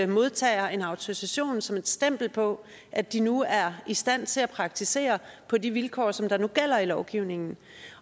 modtager en autorisation som et stempel på at de nu er i stand til at praktisere på de vilkår som der nu gælder i lovgivningen